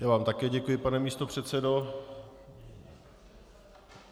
Já vám také děkuji, pane místopředsedo.